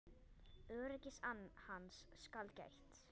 Öryggis hans skal gætt.